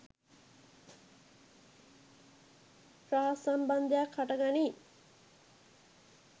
රහස් සම්බන්ධයක් හට ගනී.